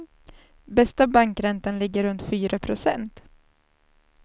Bästa bankräntan ligger runt fyra procent.